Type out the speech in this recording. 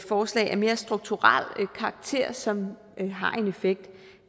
forslag af mere strukturel karakter som har en effekt